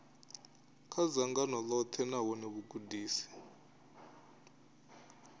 kha dzangano ḽoṱhe nahone vhugudisi